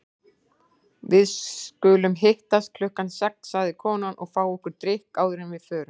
Við skulum hittast klukkan sex, sagði konan, og fá okkur drykk áður en við förum.